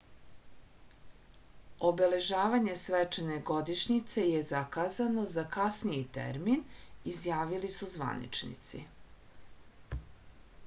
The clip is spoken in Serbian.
obeležavanje svečane godišnjice je zakazano za kasniji termin izjavili su zvaničnici